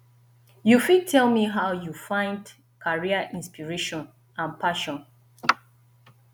you fit tell me how you fit find career inspiration and passion